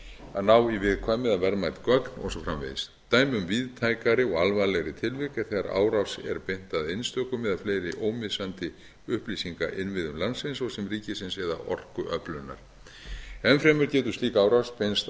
að ná í viðkvæm eða verðmæt gögn og svo framvegis dæmi um víðtækari og alvarlegri tilvik er þegar árás er beint að einstökum eða fleiri ómissandi upplýsingainnviðum landsins svo sem ríkisins eða orkuöflunar enn fremur getur slík árás beinst